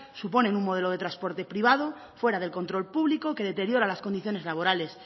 suponen un modelo de transporte privado fuera del control público que deteriora las condiciones laborales